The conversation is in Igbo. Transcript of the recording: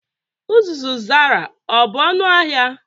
Uzuzu Zara ọ bụ ọnụ ahịa?